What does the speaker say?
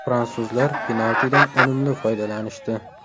Fransuzlar penaltidan unumli foydalanishdi.